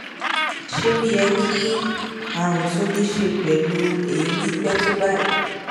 ṣé ó yẹ kí àrùn tó ní í ṣe pẹlú èémí pẹ tó báyìí